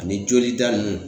Ani jolida nunnu